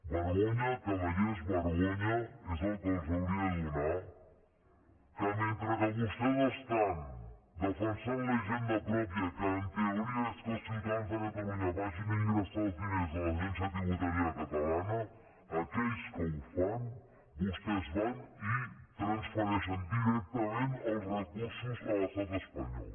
vergonya cavallers vergonya és el que els hauria de donar que mentre que vostès estan defensant la hisenda pròpia que en teoria és que els ciutadans de catalunya vagin a ingressar els diners a l’agència tributària catalana aquells que ho fan vostès van i transfereixen directament els recursos a l’estat espanyol